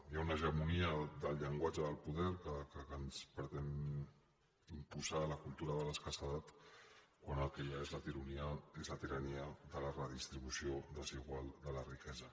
hi ha una hegemonia del llenguatge del poder que ens pretén imposar la cultura de l’escassetat quan el que hi ha és la tirania de la redistribució desigual de la riquesa